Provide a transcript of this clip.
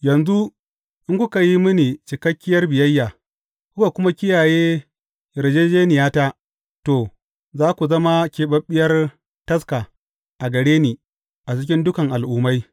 Yanzu, in kuka yi mini cikakken biyayya, kuka kuma kiyaye yarjejjeniyata, to, za ku zama keɓeɓɓiyar taska a gare ni a cikin dukan al’ummai.